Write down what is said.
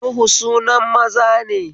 Nuhu sunan maza ne